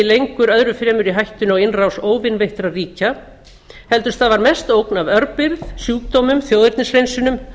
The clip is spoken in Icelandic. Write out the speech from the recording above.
lengur öðru fremur í hættunni á innrás óvinveittra ríkja heldur stafar mest ógn af örbirgð sjúkdómum þjóðernishreinsunum